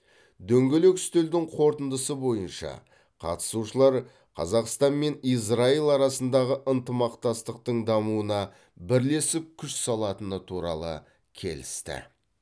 дөңгелек үстелдің қорытындысы бойынша қатысушылар қазақстан мен израиль арасындағы ынтымақтастықтың дамуына бірлесіп күш салатыны туралы келісті